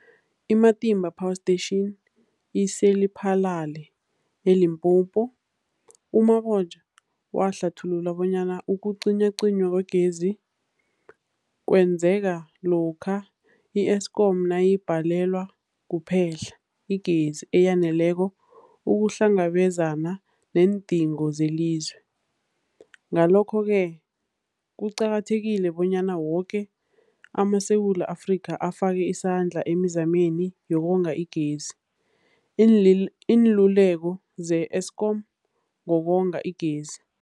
I-Matimba Power Station ise-Lephalale, eLimpopo. U-Mabotja wahlathulula bonyana ukucinywacinywa kwegezi kwenzeka lokha i-Eskom nayibhalelwa kuphe-hla igezi eyaneleko ukuhlangabezana neendingo zelizwe. Ngalokho-ke kuqakathekile bonyana woke amaSewula Afrika afake isandla emizameni yokonga igezi. Iinluleko ze-Eskom ngokonga igezi.